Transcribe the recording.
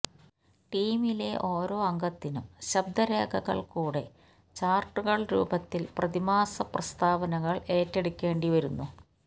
ടീമിലെ ഓരോ അംഗത്തിനും ശബ്ദരേഖകൾ കൂടെ ചാർട്ടുകൾ രൂപത്തിൽ പ്രതിമാസ പ്രസ്താവനകൾ ഏറ്റെടുക്കേണ്ടി വരുന്നു